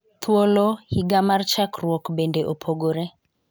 Thuolo ,higa mar chakruok bende opogore.